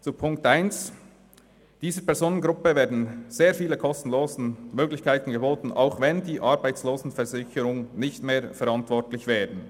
Zu Ziffer 1: Dieser Personengruppe werden sehr viele kostenlose Möglichkeiten geboten, obschon die Arbeitslosenversicherung nicht mehr verantwortlich wäre.